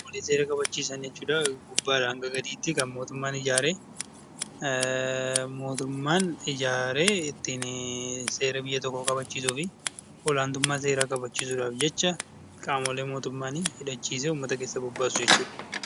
Warreen seera kabachiisan warreen mootummaan gubbaadhaa hamma gadiitti mootummaan ijaare seera biyya tokkoo kabachiisuu fi olaantummaa seeraa kabachiisuudhaaf jecha qaamolee mootummaan hidhachiisee uummata keessa bobbaasu jechuudha.